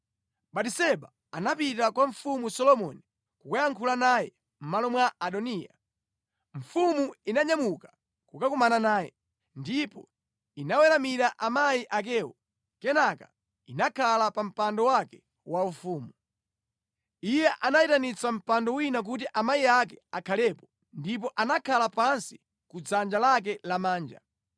Batiseba atapita kwa Mfumu Solomoni kukayankhula naye mʼmalo mwa Adoniya, mfumu inanyamuka kukumana naye, ndipo inaweramira amayi akewo, kenaka inakhala pa mpando wake waufumu. Iye anayitanitsa mpando wina kuti amayi ake akhalepo ndipo anakhala pansi ku dzanja lake lamanja.